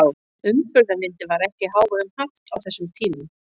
Umburðarlyndi var ekki í hávegum haft á þessum tímum.